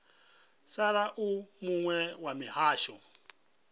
sala u muwe wa mihasho